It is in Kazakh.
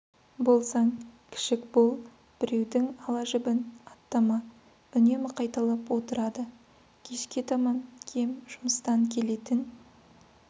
болсаң кішік бол біреудің ала жібін аттама үнемі қайталап отырады кешке таман кем жұмыстан келетін